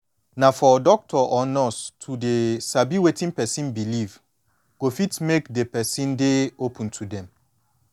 na for doctor or nurse to dey sabi wetin person believe go fit make de person dey open to dem